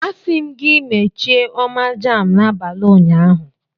Asi m gi mechie oma jam n'abali unyanya!